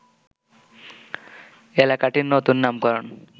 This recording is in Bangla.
এলাকাটির নতুন নামকরণ